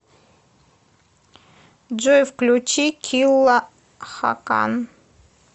джой включи килла хакан